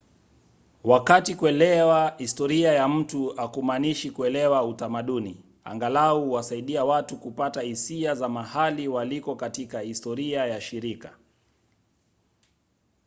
wakati kuelewa historia ya mtu hakumaanishi kuelewa utamaduni angalau huwasaidia watu kupata hisia za mahali waliko katika historia ya shirika